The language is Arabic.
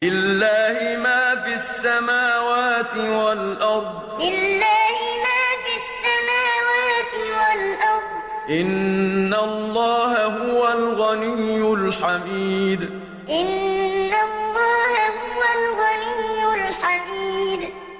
لِلَّهِ مَا فِي السَّمَاوَاتِ وَالْأَرْضِ ۚ إِنَّ اللَّهَ هُوَ الْغَنِيُّ الْحَمِيدُ لِلَّهِ مَا فِي السَّمَاوَاتِ وَالْأَرْضِ ۚ إِنَّ اللَّهَ هُوَ الْغَنِيُّ الْحَمِيدُ